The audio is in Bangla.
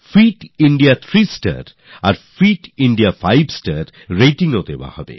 ফিট ইন্ডিয়াথ্রি স্টার আর ফিট ইন্দিয়া ফাইভ স্টার ratingsও দেওয়া হবে